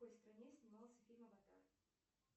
в какой стране снимался фильм аватар